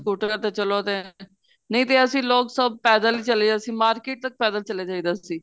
ਸਕੂਟਰਾ ਤੇ ਚਲੋ ਤੇ ਨਹੀਂ ਤੇ ਅਸੀਂ ਲੋਕ ਸਭ ਪੈਦਲ ਚਲੇ ਅਸੀਂ market ਤੱਕ ਪੈਦਲ ਚਲੇ ਜਾਈ ਦਾ ਸੀ